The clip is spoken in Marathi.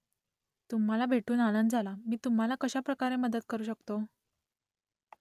तुम्हालाही भेटून आनंद झाला मी तुम्हाला कशाप्रकारे मदत करू शकतो ?